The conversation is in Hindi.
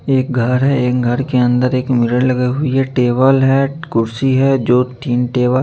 एक घर है एक घर के अंदर एक मिरर लगाई हुई है टेबल है कुर्सी है जो तीन टेबल --